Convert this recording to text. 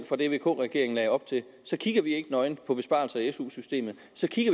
fra det vk regeringen lagde op til kigger vi ikke nøgent på besparelser i su systemet